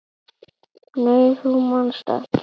Nei þú manst ekki.